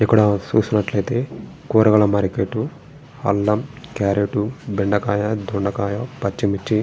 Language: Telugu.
ఇక్కడా చూసినట్లయితే కూరగాయల మార్కెటు . అల్లము క్యారెట్ బెండకాయ దొండకాయ పచ్చిమిర్చి --